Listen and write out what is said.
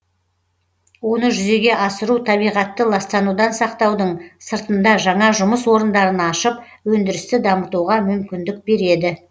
оны жүзеге асыру табиғатты ластанудан сақтаудың сыртында жаңа жұмыс орындарын ашып өндірісті дамытуға мүмкіндік береді